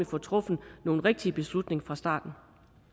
får truffet nogle rigtige beslutninger fra starten